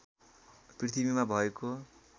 पृथ्वीमा भएको